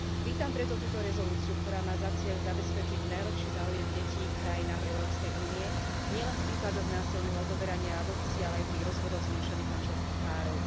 Vítam preto túto rezolúciu, ktorá má za cieľ zabezpečiť najlepší záujem detí v krajinách Európskej únie nielen v prípadoch násilného odoberania a adopcie, ale aj pri rozvodoch zmiešaných manželských párov.